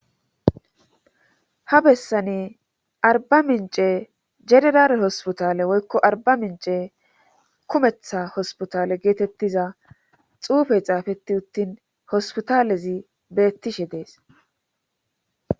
ha bessani arba mince jenerale hospitale woykko arba mince kumetha hospitale geetettiza xuufe xaafetti uttin hospitalezi beettishe dees